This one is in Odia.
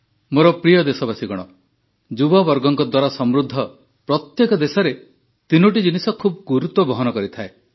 ମୋର ପ୍ରିୟ ଦେଶବାସୀଗଣ ଯୁବବର୍ଗଙ୍କ ଦ୍ୱାରା ସମୃଦ୍ଧ ପ୍ରତ୍ୟେକ ଦେଶରେ ତିନିଟି ଜିନିଷ ଖୁବ୍ ଗୁରୁତ୍ୱ ବହନ କରିଥାଏ